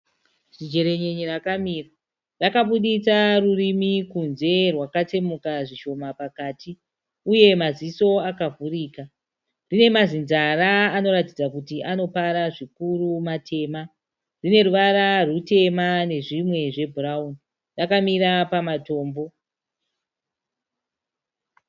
Zijerenyenye rakamira. Rakabuditsa rurimi kunze rwakatsemuka zvishoma pakati uye maziso akavhurika. Rine mazinzara anoratidza kuti anopara zvikuru matema. Rine ruvara rutema nezvimwe zvebhurawuni. Rakamira pamatombo.